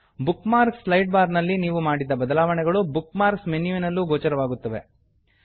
book marks slide bar ನಲ್ಲಿ ನೀವು ಮಾಡಿದ ಬದಲಾವಣೆಗಳು ಬುಕ್ ಮಾರ್ಕ್ಸ್ ಮೆನ್ಯುವಿನಲ್ಲೂ ಗೋಚರವಾಗುತ್ತವೆ